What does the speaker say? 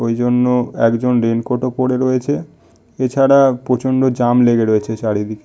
ঐ জন্য একজন রেইন কোট ও পরে রয়েছে। এছাড়া প্রচন্ড জ্যাম লেগে রয়েছে চারিদিকে।